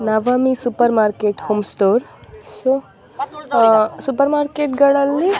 Navami super market home store ah ah super market ಗಲ್ಲಲ್ಲಿ --